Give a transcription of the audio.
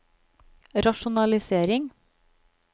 rasjonalisering